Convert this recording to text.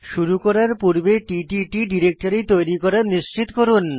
শুরু করার পূর্বে টিটিট ডিরেক্টরি তৈরী করা নিশ্চিত করুন